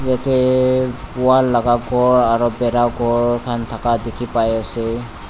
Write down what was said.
yate wall laga ghor aru ghor khan thaka dikhi pai ase.